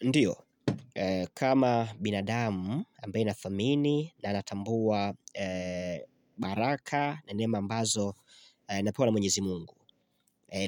Ndiyo, kama binadamu ambaye anathamini na anatambua baraka na neema ambazo napewa na mwenyezi mungu